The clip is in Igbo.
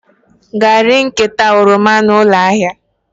Gaa ree nkata oroma a na ụlọ ahịa!